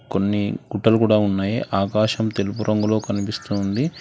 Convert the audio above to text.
కొన్ని గుట్టలు కూడా ఉన్నాయి ఆకాశం తెలుపు రంగులో కనిపిస్తూ ఉంది.